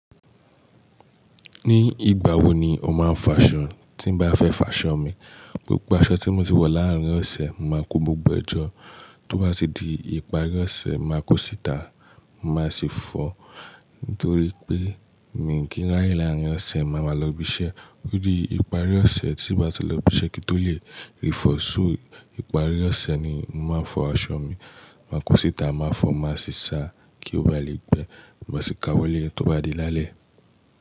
Ní ìgbà wo ni o máa ń fa aṣọ? Tí bá fẹ́ fa aṣọ mi, gbogbo aṣọ tí mo ti wọ̀ láàárín ọ̀sẹ̀ máa kó gbogbo ẹjọ́. Tó bá ti di ìparí ọ̀sẹ̀, máa kó síta. Màá sì fọ̀, nítorí pé mi kíń rà í láàárín ọ̀sẹ̀, màá mà lọ́ bí iṣẹ́. Ó di ìparí ọ̀sẹ̀ tí bá ti lọ bí iṣẹ́ kí n tó lè rí fọ̀. So ìparí ọ̀sẹ̀ ni mo máa ń fọ aṣọ mi. Máa kó síta, màá fọ̀, màá sì sa kí ó ba lè gbẹ. Má sì ka wọlé tó bá di lálẹ́.